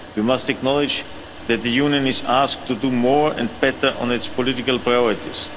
We must acknowledge that the Union is asked to do more and better on its political priorities.